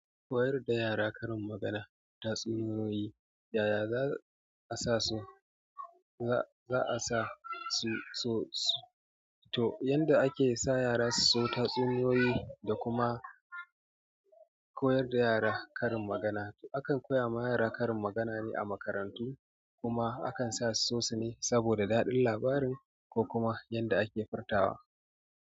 Koyar da yara karin magana, tatsuniyoyi yaya za'a sasu. To yanda ake sa yara su so tatsuniyoyi da kuma koyar da yara karin magana. Akan koya ma yara karin magana ne a makarantu kuma akan sa su so su ne saboda daɗin labarin ko kuma yadda ake furtawa.